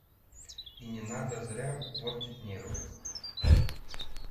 и не надо зря портить нервы